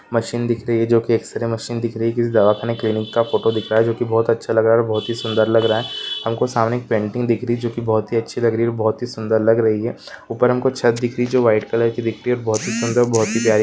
Machine दिख रही है जो की एक्सरे मशीन दिख रही है। कि दवा खाने क्लीनिक का फोटो दिखाएं जो की बहुत अच्छा लगा और बहुत ही सुंदर लग रहा है। हमको सामने की पेंटिंग दिख रही जो की बहुत ही अच्छी लग रही है बहुत ही सुंदर लग रही है ऊपर हमको छत दिख रही जो वाइट कलर की दिखती है बहुत प्यारी--